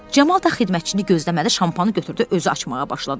Camal da xidmətçini gözləmədi, şampanı götürdü, özü açmağa başladı.